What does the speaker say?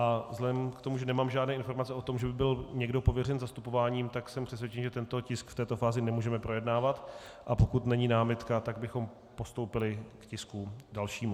A vzhledem k tomu, že nemám žádné informace o tom, že by byl někdo pověřen zastupováním, tak jsem přesvědčen, že tento tisk v této fázi nemůžeme projednávat, a pokud není námitka, tak bychom postoupili k tisku dalšímu.